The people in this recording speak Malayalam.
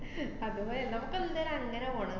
അതെയതെ എല്ലാർക്കും എന്തായാലും അങ്ങനെ പോണം.